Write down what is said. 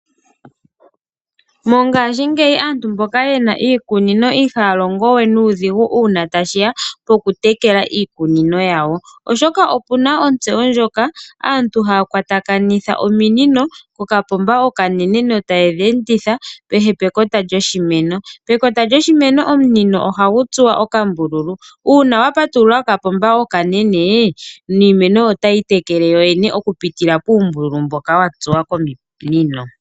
Mongashingeyi aantu mboka ye na iikunino ihaya longo we nuudhigu uuna tashi ya pokutekela iikunino yawo, oshoka opu na ontseyo ndjoka aantu haya kwatakanitha ominino pokapomba okanene. Ominino tayi enditha kehe pekota lyoshimeno. Pekota lyoshimeno omunino ohagu tsuwa okambululu. Uuna wa patulula kokapomba okanene niimeno otayi itekele kuyoyene okupitila puumbululu mboka wa tsuwa kominino.